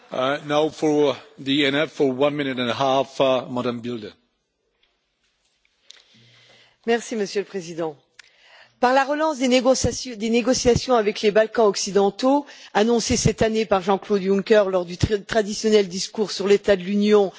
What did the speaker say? Monsieur le Président, par la relance des négociations avec les Balkans occidentaux, annoncée cette année par Jean-Claude Juncker lors du traditionnel discours sur l'état de l'Union, ainsi que dans le programme de la nouvelle présidence bulgare, l'Union européenne tente de conjurer le désaveu cinglant du Brexit.